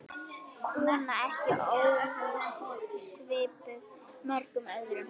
Kona ekki ósvipuð mörgum öðrum.